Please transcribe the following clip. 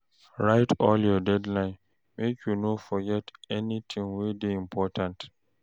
Write all your deadlines o, make you no forget anytin wey dey important.